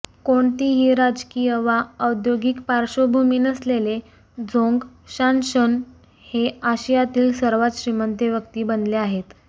कोणतीही राजकीय वा औद्यौगिक पार्श्वभूमी नसलेले झोंग शानशन हे आशियातील सर्वात श्रीमंत व्यक्ती बनले आहेत